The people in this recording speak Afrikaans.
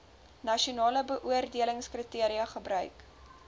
nasionale beoordelingskriteria gebruik